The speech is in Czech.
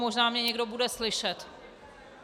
Možná mě někdo bude slyšet.